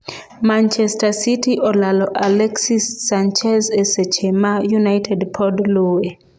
Manchester City olalo Alexis Sanchez e seche ma United pod luwe